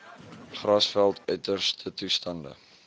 grasveld uiterste toestande